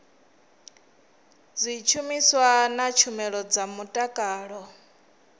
zwishumiswa na tshumelo dza mutakalo